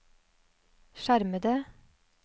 skjermede